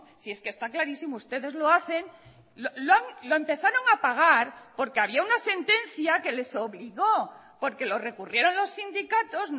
si es que está clarísimo ustedes lo hacen lo empezaron a pagar porque había una sentencia que les obligó porque lo recurrieron los sindicatos